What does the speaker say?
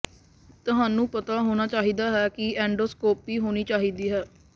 ਤੁਹਾਨੂੰ ਪਤਾ ਹੋਣਾ ਚਾਹੀਦਾ ਹੈ ਕਿ ਐਂਡੋਸਕੋਪੀ ਹੋਣੀ ਚਾਹੀਦੀ ਹੈ